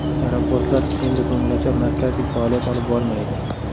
Aeroportlar endi ko‘ngilochar markazdek faoliyat olib bormaydi.